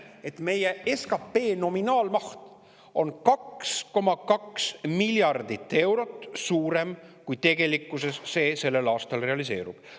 Et meie SKP nominaalmaht on 2,2 miljardit eurot suurem, kui tegelikkuses sellel aastal realiseerub.